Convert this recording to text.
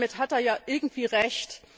Damit hat er irgendwie Recht.